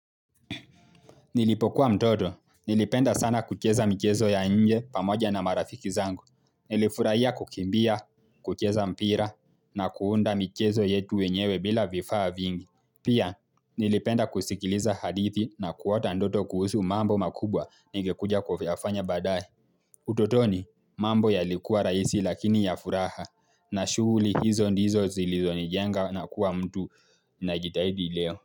Nilipokuwa mtoto, nilipenda sana kucheza michezo ya nje pamoja na marafiki zangu. Nilifurahia kukimbia, kucheza mpira, na kuunda michezo yetu wenyewe bila vifaa vingi. Pia, nilipenda kusikiliza hadithi na kuota ndoto kuhusu mambo makubwa ningekuja kuyafanya baadaye. Utotoni, mambo yalikuwa rahisi lakini ya furaha, na shughuli hizo ndizo zilizonijenga na kuwa mtu na jitahidi leo.